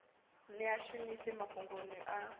ni a shumise mafhungoni a